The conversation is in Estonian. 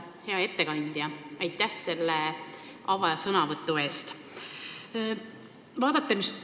Hea ettekandja, aitäh selle avasõnavõtu eest!